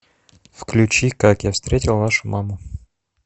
включи как я встретил вашу маму